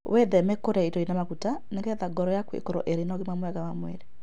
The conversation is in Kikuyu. Gwĩthema kũrĩa irio irĩ na maguta nĩ getha ngoro yaku ĩkorũo ĩrĩ na ũgima mwega wa mwĩrĩ.